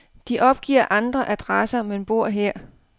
De opgiver andre adresser, men bor her.